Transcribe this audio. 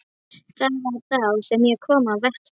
Það var þá sem ég kom á vettvang.